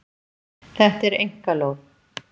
Þetta er einkalóð.